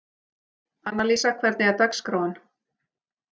Annalísa, hvernig er dagskráin?